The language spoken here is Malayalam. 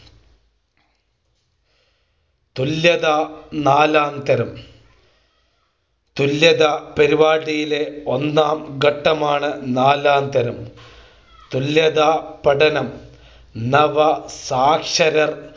തുല്യതാ നാലാംതരം തുല്യതാ പരിപാടിയിലെ ഒന്നാം ഘട്ടമാണ് നാലാംതരം തുല്യതാ പഠനം നവ സാക്ഷര